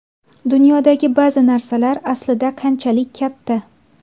Dunyodagi ba’zi narsalar aslida qanchalik katta?